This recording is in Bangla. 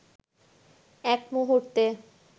এক মুহূর্তে